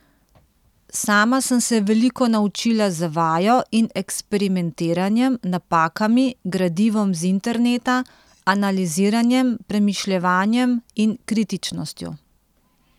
Sama sem se veliko naučila z vajo in eksperimentiranjem, napakami, gradivom z interneta, analiziranjem, premišljevanjem in kritičnostjo.